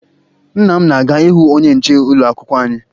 Nna m na-aga ịhụ onye nche ụlọakwụkwọ anyị